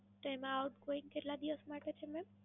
તેમાં Outgoing કેટલા દિવસ માટે છે મેમ?